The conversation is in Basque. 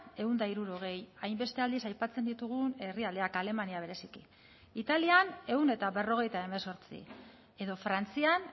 ehun eta hirurogei hainbeste aldiz aipatzen ditugun herrialdeak alemania bereziki italian ehun eta berrogeita hemezortzi edo frantzian